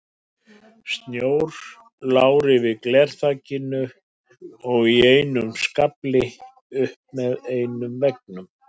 Snjór lá yfir glerþakinu og í skafli upp með einum veggnum.